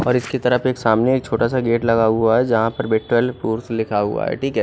और इसकी तरफ सामने से एक छोटा सा गेट लगा हुआ है जहाँ पर बेडट्रोल फुरफ लिखा हुआ है टिके--